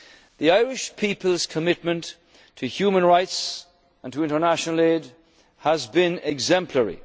than ever before. The Irish people's commitment to human rights and to international aid